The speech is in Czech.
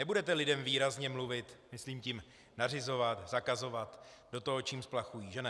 Nebudete lidem výrazně mluvit, myslím tím nařizovat, zakazovat, do toho, čím splachují, že ne?